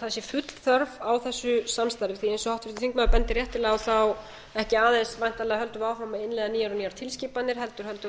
það sf ull þörf á þessu samstarfi því eins og háttvirtur þingmaður bendir réttilega á þá ekki aðeins væntanlega höldum við áfram að innleiða nýjar og nýjar tilskipanir heldur höldum við áfram